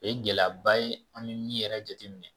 O ye gɛlɛyaba ye an bɛ min yɛrɛ jate minɛ